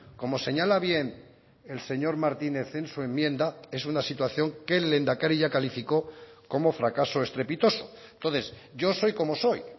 como señala bien el señor martínez en su enmienda es una situación que el lehendakari ya calificó como fracaso estrepitoso entonces yo soy como soy